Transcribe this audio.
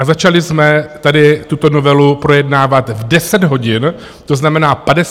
A začali jsme tady tuto novelu projednávat v 10 hodin, to znamená 53 minut.